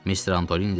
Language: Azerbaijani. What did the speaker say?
Mister Antoni dedi.